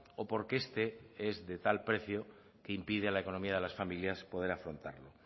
o porque este es de tal precio que impide a la economía de las familias poder afrontarlo